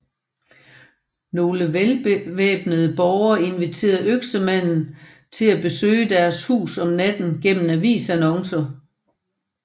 Nogle velbevæbnede borgere inviterede Øksemanden til besøge deres hus om natten gennem avisannoncer